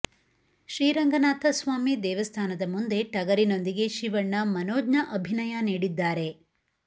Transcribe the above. ಶ್ರೀರಂಗನಾಥ ಸ್ವಾಮಿ ದೇವಸ್ಥಾನದ ಮುಂದೆ ಟಗರಿನೊಂದಿಗೆ ಶಿವಣ್ಣ ಮನೋಜ್ಞ ಅಭಿನಯ ನೀಡಿದ್ದಾರೆ